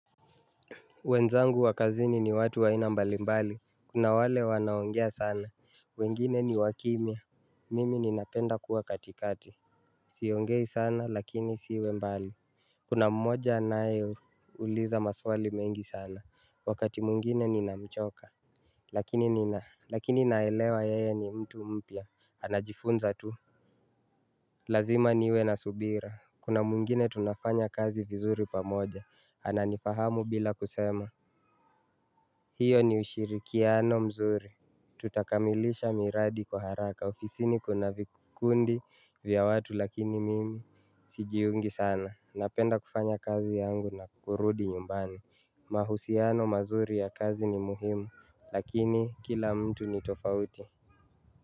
Wenzangu wa kazini ni watu wa aina mbali mbali. Kuna wale wanaongea sana. Wengine ni wakimya. Mimi ninapenda kuwa katikati. Siongei sana lakini siwe mbali. Kuna mmoja anayeuliza maswali mengi sana. Wakati mwingine ninamchoka. Lakini nina lakini naelewa yeye ni mtu mpya. Anajifunza tu. Lazima niwe na subira. Kuna mwingine tunafanya kazi vizuri pamoja. Ananifahamu bila kusema. Hiyo ni ushirikiano mzuri. Tutakamilisha miradi kwa haraka, ofisini kuna vikundi vya watu lakini mimi sijiungi sana, napenda kufanya kazi yangu na kurudi nyumbani. Mahusiano mazuri ya kazi ni muhimu, lakini kila mtu ni tofauti.